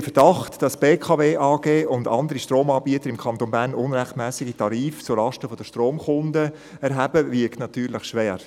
Der Verdacht, dass die BKW AG und andere Stromanbieter im Kanton Bern unrechtmässige Tarife zulasten der Stromkunden erheben, wiegt natürlich schwer.